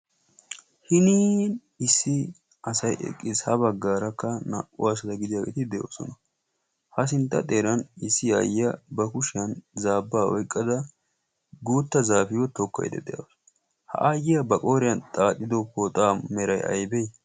hinin issi asai eqqiis ha baggaarakka naa"u aasada gidiyaageeti de'oosona. ha sintta xeeran issi aayyiya ba kushiyan zaabbaa oyqqada guutta zaafiyo tookkoide de'ausu ha aayyiyaa ba qooriyan xaaxido pooxaa merai aybee?